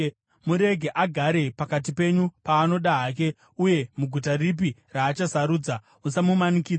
Murege agare pakati penyu paanoda hake uye muguta ripi raachasarudza. Usamumanikidza.